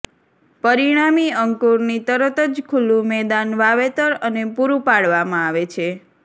પરિણામી અંકુરની તરત જ ખુલ્લું મેદાન વાવેતર અને પુરું પાડવામાં આવે છે